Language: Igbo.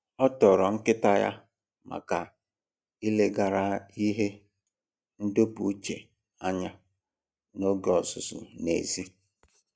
O toro nkịta ya maka ileghara ihe ndọpụ uche anya n'oge ọzụzụ n'èzí